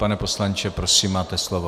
Pane poslanče, prosím, máte slovo.